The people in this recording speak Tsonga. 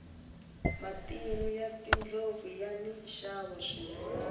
matinu ya tindlopfu yani nxavo swinene